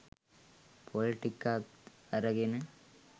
පොල් ටිකත් අරගෙන